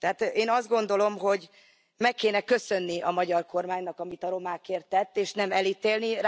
Tehát én azt gondolom, hogy meg kéne köszönni a magyar kormánynak, amit a romákért tett, és nem elítélni.